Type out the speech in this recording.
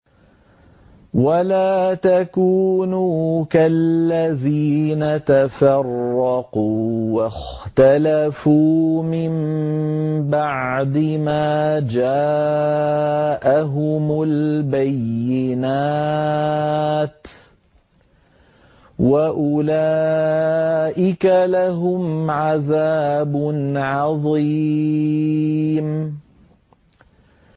وَلَا تَكُونُوا كَالَّذِينَ تَفَرَّقُوا وَاخْتَلَفُوا مِن بَعْدِ مَا جَاءَهُمُ الْبَيِّنَاتُ ۚ وَأُولَٰئِكَ لَهُمْ عَذَابٌ عَظِيمٌ